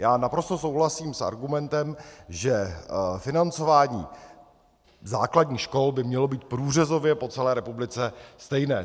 Já naprosto souhlasím s argumentem, že financování základních škol by mělo být průřezově po celé republice stejné.